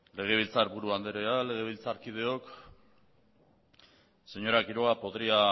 legebiltzarburu anderea legebiltzarkideok señora quiroga podría